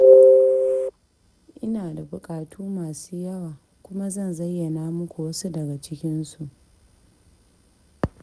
Ina da buƙatu masu yawa, kuma zan zayyana muku wasu daga cikinsu.